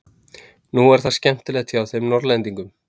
Nú er það skemmtilegt hjá þeim Norðlingunum.